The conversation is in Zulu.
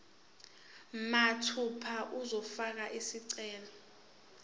mathupha uzofaka isicelo